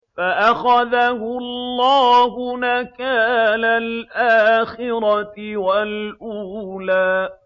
فَأَخَذَهُ اللَّهُ نَكَالَ الْآخِرَةِ وَالْأُولَىٰ